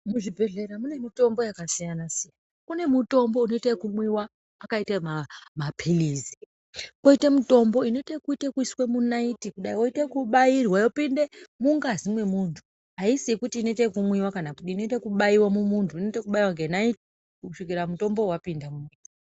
Muzvibhedhlera mune mitombo yakasiyana siyana , kune mutombo unoita yekumwiwa akaita mapilizi ,koita mutombo unoite kuiswa munaiti kudai yoita kubairwa yopinde mungazi mwemuntu haisi yekuti inoita kumwiwa kana kudii inoita kubaiwa mumuntu inoita kubayiwa nenaiti kusvikira mutombowo wapinda .